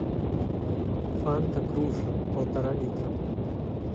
фанта груша полтора литра